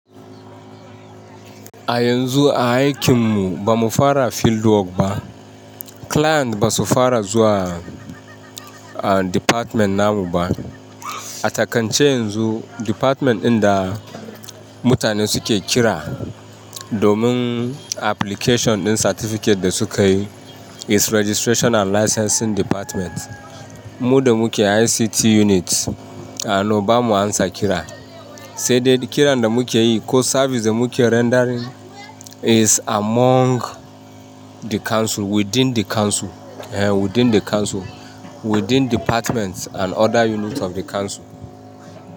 A yanzu a aikin mu ba mu fara field work ba. Client ba su fara zuwa, ah, department namu ba. A takance yanzu department ɗin da mutane suke kira domin application ɗin certificate da sukayi is Registrational License din Department. Muda muke ICT Unit, a no, bamu amsa kira. Saidai kiran da muke yi ko service da muke rendering is among the council, within the council, eh, within the council, within departments and other units of the council.